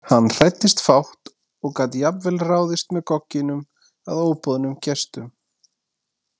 Hann hræddist fátt og gat jafnvel ráðist með gogginum að óboðnum gestum.